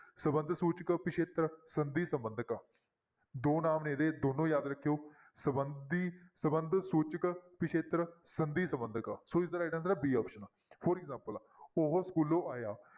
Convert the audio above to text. ਸੰਬੰਧਕ ਸੂਚਕ ਪਿੱਛੇਤਰ ਸੰਧੀ ਸੰਬੰਧਕ ਦੋ ਨਾਮ ਨੇ ਇਹਦੇ ਦੋਨੋਂ ਯਾਦ ਰੱਖਿਓ ਸੰਬੰਧੀ ਸੰਬੰਧ ਸੂਚਕ ਪਿੱਛੇਤਰ ਸੰਧੀ ਸੰਬੰਧਕ ਸੋ ਇਸਦਾ right answer ਹੈ b option, for example ਉਹ ਸਕੂਲੋਂ ਆਇਆ